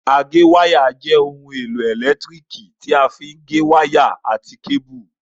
Agéwáyà jẹ́ ohun èlò ẹ̀lẹ́tíríkì tí a fí gé wáyà àti kébù